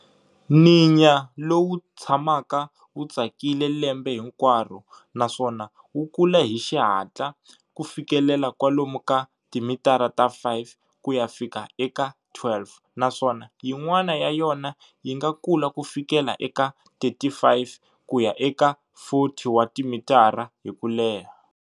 Ninya lowu wu tshamaka wu tsakile lembe hinkwaro naswona wu kula hi xihatla ku fikelela kwalomu ka timitara ta 5 ku ya fika eka 12, naswona yin'wana ya yona yinga kula ku fikela eka 35 kya eka 40 wa timitara hi kuleha.